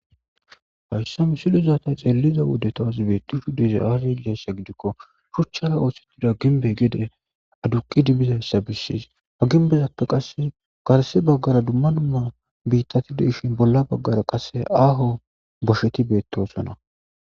hayssa misiliza ta xeeliza wode tas beettishe dizayassi aazee gidikko shuchchara ooththettida ginbe gede aduqidi bizayssa bissis ha ginbezappe qasse garse baggara dumma numma biittati de7ishin bolla baggara qase aaho bosheti beettoosona